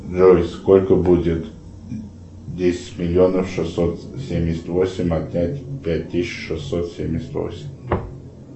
джой сколько будет десять миллионов шестьсот семьдесят восемь отнять пять тысяч шестьсот семьдесят восемь